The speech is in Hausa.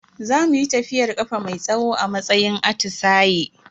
Za muyi tafiyar kafa mai tsawo a matsayin atisaye.